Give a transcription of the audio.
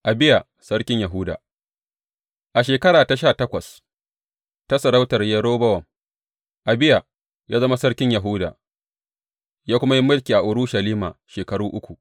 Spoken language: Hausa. Abiya sarkin Yahuda A shekara ta sha takwas ta sarautar Yerobowam, Abiya ya zama sarkin Yahuda, ya kuma yi mulki a Urushalima shekaru uku.